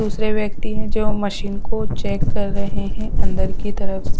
दूसरे व्यक्ति हैं जो मशीन को चेक कर रहे हैं अंदर की तरफ।